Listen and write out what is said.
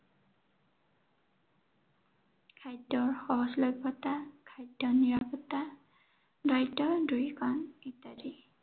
খাদ্য়ৰ সহজলভ্য়তা, খাদ্য়ৰ নিৰাপত্তা, দৰিদ্ৰতা দূৰীকৰণ ইত্য়াদি।